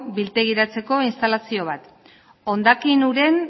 biltegiratzeko instalazio bat hondakin uren